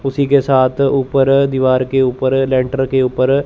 उसी के साथ ऊपर दीवार के ऊपर लेंटर के ऊपर--